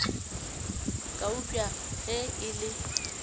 ka eupša ge e le